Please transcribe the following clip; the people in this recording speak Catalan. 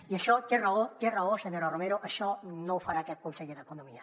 i això té raó té raó senyora romero això no ho farà aquest conseller d’economia